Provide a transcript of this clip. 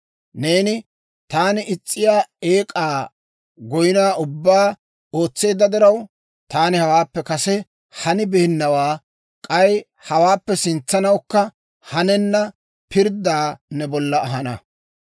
Neeni taani is's'iyaa eek'aa goynaa ubbaa ootseedda diraw, taani hawaappe kase hanibeennawaa, k'ay hawaappe sintsawukka hanenna pirddaa ne bolla ahana.